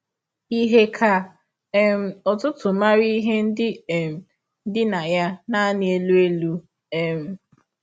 Ihe ka um ọtụtụ maara ihe ndị um dị na ya nanị elụ elụ. um